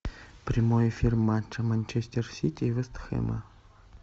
прямой эфир матча манчестер сити и вест хэма